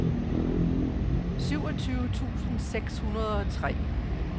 syvogtyve tusind seks hundrede og tre